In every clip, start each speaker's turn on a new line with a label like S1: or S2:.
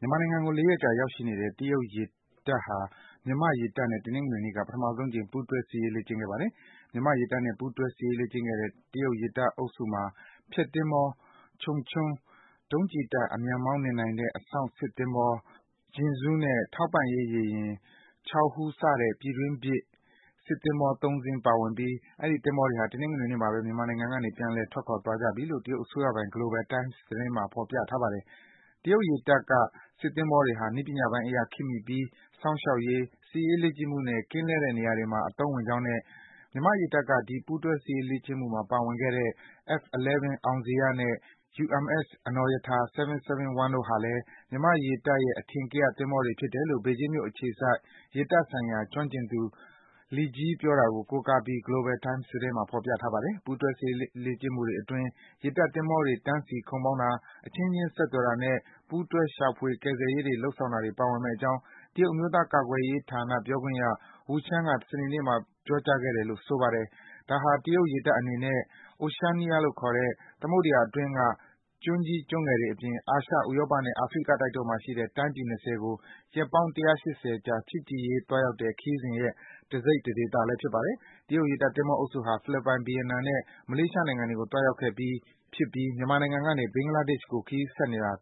S1: မြန်မာနိုင်ငံကို ၄ ရက်ကြာ ရောက်ရှိနေတဲ့ တရုတ်ရေတပ်ဟာ မြန်မာ့ရေတပ်နဲ့ တနင်္ဂနွေနေ့က ပထမဆုံးအကြိမ် ပူးတွဲ စစ်ရေး လေ့ကျင့်ခဲ့ပါတယ်။ မြန်မာ့ ရေတပ်နဲ့ ပူးတွဲ စစ်ရေးလေ့ကျင့်ခဲ့တဲ့ တရုတ် ရေတပ်အုပ်စုမှာ ဖျက်သင်္ဘော Changchun ၊ ဒုံးကျည်တပ် အမြန်မောင်းနှင်နိုင်တဲ့ အစောင့်စစ်သင်္ဘော Jingzhou နဲ့ ထောက်ပံ့ရေး ရေယာဉ် Chaohu စတဲ့ တရုတ်ပြည်တွင်းဖြစ် စစ်သင်္ဘော ၃ စီး ပါဝင်ပြီး အဲဒီ သင်္ဘောတွေဟာ တနင်္ဂနွေနေ့မှာပဲ မြန်မာနိုင်ငံကနေ ပြန်လည် ထွက်ခွာသွားကြပြီလို့ တရုတ်အစိုးရပိုင် Global Times သတင်းမှာ ဖော်ပြထားပါတယ်။ တရုတ်ရေတပ်က စစ်သင်္ဘောတွေဟာ နည်းပညာပိုင်းအရ ခေတ်မီပြီး စောင့်ရှောက်ရေး၊ စစ်ရေးလေ့ကျင့်မှုနဲ့ ကင်းလှည့်တဲ့နေရာတွေမှာ အသုံးဝင်ကြောင်းနဲ့ မြန်မာ့ရေတပ်က ဒီ ပူးတွဲ စစ်ရေးလေ့ကျင့်မှုမှာ ပါဝင်ခဲ့တဲ့ F11 အောင်ဇေယျနဲ့ UMS အနော်ရထာ (771) တို့ဟာလည်း မြန်မာ့ရေတပ်ရဲ့ အထင်ကရ သင်္ဘောတွေ ဖြစ်တယ်လို့ ဘေဂျင်းမြို့ အခြေစိုက် ရေတပ်ဆိုင်ရာ ကျွမ်းကျင်သူ Li Jie ပြောတာကို ကိုးကားပြီး Global Times သတင်းမှာ ဖော်ပြထားပါတယ်။ ပူးတွဲ စစ်ရေးလေ့ကျင့်မှုအတွင်း ရေတပ်သင်္ဘောတွေ တန်းစီ ခုတ်မောင်းတာ၊ အချင်းချင်း ဆက်သွယ်တာနဲ့ ပူးတွဲ ရှာဖွေ ကယ်ဆယ်ရေးတွေ လုပ်ဆောင်တာတွေ ပါဝင်မယ့်အကြောင်း တရုတ် အမျိုးသားကာကွယ်ရေးဌာန ပြောခွင့်ရ Wu Qian က စနေနေ့မှာ ပြောကြားခဲ့တယ်လို့ ဆိုပါတယ်။ ဒါဟာ တရုတ်ရေတပ်အနေနဲ့ Oceania လို့ခေါ်တဲ့ သမုဒ္ဒယာအတွင်းက ကျွန်းကြီး ကျွန်းငယ်တွေ အပြင် အာရှ၊ ဥရောပနဲ့ အာဖရိကတိုက်တို့မှာ ရှိတဲ့ တိုင်းပြည် ၂၀ ကို ရက်ပေါင်း ၁၈၀ ကြာ ချစ်ကြည်ရေး သွားရောက်တဲ့ ခရီးစဉ်ရဲ့ တစိတ်တဒေသလည်း ဖြစ်ပါတယ်။ တရုတ်ရေတပ် သင်္ဘောအုပ်စုဟာ ဖိလစ်ပိုင်၊ ဗီယက်နမ်နဲ့ မလေးရှားနိုင်ငံတွေကို သွားရောက်ခဲ့ပြီး ဖြစ်ပြီး မြန်မာနိုင်ငံကနေ ဘင်္ဂလားဒေ့ရှ်နိုင်ငံကို ခရီးဆက်သွားနေတာပါ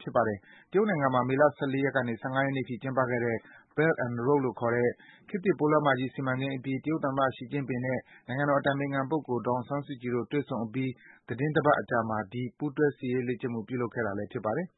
S1: ။ တရုတ်နိုင်ငံမှာ မေလ ၁၄ ရက်ကနေ ၁၅ ရက်နေ့အထိ ကျင်းပခဲ့တဲ့ Belt and Road လို့ခေါ်တဲ့ ခေတ်သစ်ပိုးလမ်းမကြီး စီမံကိန်းအပြီး တရုတ်သမ္မတ ရှီကျင့်ပင်နဲ့ နိုင်ငံတော်အတိုင်ပင်ခံပုဂ္ဂိုလ် ဒေါ်အောင်ဆန်းစုကြည်တို့ တွေ့ဆုံအပြီး သီတင်းတပတ်အကြာမှာ ဒီ ပူးတွဲရေတပ် စစ်ရေးလေ့ကျင့်မှု ပြုလုပ်ခဲ့တာလည်း ဖြစ်ပါတယ်